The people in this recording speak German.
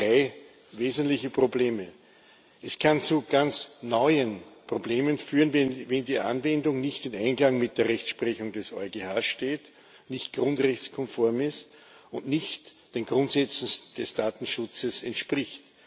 Ich sehe drei wesentliche Probleme. Es kann zu ganz neuen Problemen führen, wenn die Anwendung nicht im Einklang mit der Rechtsprechung des EuGH steht, nicht grundrechtskonform ist und nicht den Grundsätzen des Datenschutzes entspricht.